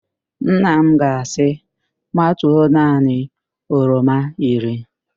Nna m ga-asị, matuo naanị oroma iri